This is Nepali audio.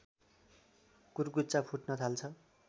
कुर्कुच्चा फुट्न थाल्छ